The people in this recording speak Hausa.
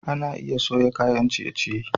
Ana iya soya kayan ciye-ciye.